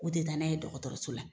U tɛ taa n'a ye dɔgɔtɔrɔso la.